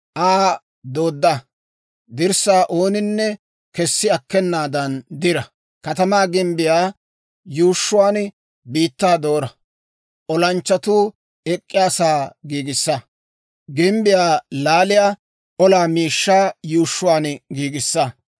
Aa doodda; dirssaa ooninne kesi akkenaada diraa, katamaa gimbbiyaa yuushshuwaan biittaa doora; olanchchatuu ek'k'iyaasaa giigissa; gimbbiyaa laaliyaa olaa miishshaa yuushshuwaan giigisaa.